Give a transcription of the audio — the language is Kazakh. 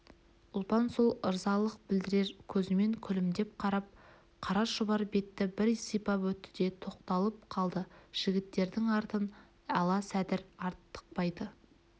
ұлпан сол ырзалық білдірер көзімен күлімдей қарап қара шұбар бетті бір сипап өтті де тоқталып қалды жігіттердің артын ала сәдір артықбайды